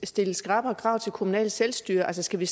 stille skrappere krav til det kommunale selvstyre altså skal vi